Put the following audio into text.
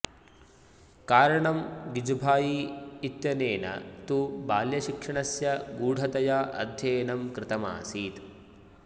कारणं गिजुभाई इत्यनेन तु बाल्यशिक्षणस्य गूढतया अध्ययनं कृतमासीत्